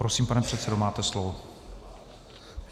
Prosím, pane předsedo, máte slovo.